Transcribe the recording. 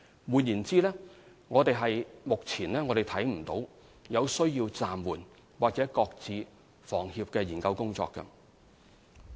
換言之，目前我們看不到有需要暫緩或擱置房協的研究工作。